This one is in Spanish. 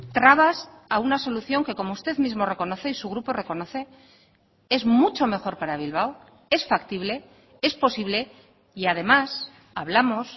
trabas a una solución que como usted mismo reconoce y su grupo reconoce es mucho mejor para bilbao es factible es posible y además hablamos